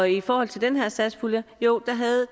i forhold til den her satspulje jo der havde